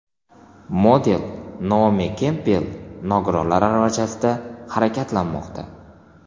Model Naomi Kempbell nogironlar aravachasida harakatlanmoqda.